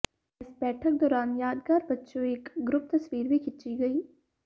ਇਸ ਬੈਠਕ ਦੌਰਾਨ ਯਾਦਗਾਰ ਵਜੋਂ ਇਕ ਗਰੁੱਪ ਤਸਵੀਰ ਵੀ ਖਿੱਚੀ ਗਈ